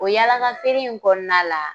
O yaalakafeere in kɔnɔna la